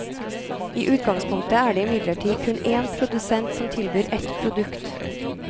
I utgangspunktet er det imidlertid kun èn produsent som tilbyr ett produkt.